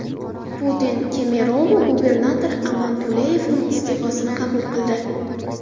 Putin Kemerovo gubernatori Aman Tuleyevning iste’fosini qabul qildi.